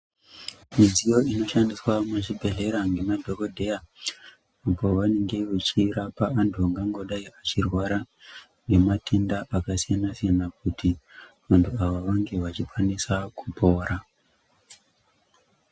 Midziyo inoshandiswa muzvibhedhlera ngemadhokodheya pavanenge vechirapa vantu vangangodai vachirwara nematenda akasiyana siyana kuti vantu ava vange vachikwanisa kupora.